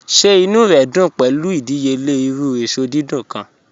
Ṣẹ̀ ìnú rẹ dún pẹ̀lu ìdíyèlẹ̀ irú èṣọ dídùn kan?